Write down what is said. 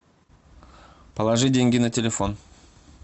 положи деньги на телефон